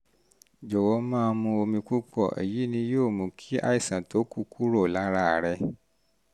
jọwọ um máa mu omi púpọ̀ èyì um ni yóò mú kí àìsàn tó kù kúrò lára rẹ